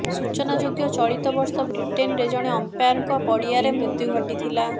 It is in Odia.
ସୂଚନାଯୋଗ୍ୟ ଚଳିତ ବର୍ଷ ବ୍ରିଟେନ୍ରେ ଜଣେ ଅମ୍ପାୟାରଙ୍କ ପଡ଼ିଆରେ ମୃତ୍ୟୁ ଘଟିଥିଲା